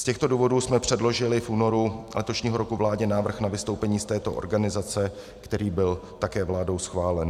Z těchto důvodů jsme předložili v únoru letošního roku vládě návrh na vystoupení z této organizace, který byl také vládou schválen.